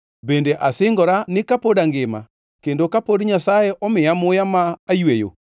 bende asingora ni kapod angima kendo kapod Nyasaye omiya muya ma ayweyo,